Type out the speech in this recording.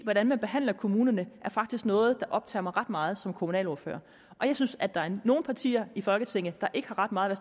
hvordan man behandler kommunerne er faktisk noget der optager mig ret meget som kommunalordfører jeg synes at der er nogle partier i folketinget der ikke har ret meget at